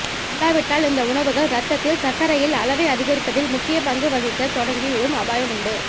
இல்லாவிட்டால் இந்த உணவுகள் ரத்தத்தில் சர்க்கரையில் அளவை அதிகரிப்பதில் முக்கியப் பங்கு வகிக்கத் தொடங்கி விடும் அபாயம் உண்டு